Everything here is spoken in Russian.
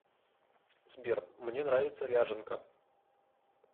сбер мне нравится ряженка